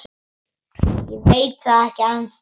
Ég veit það ekki ennþá.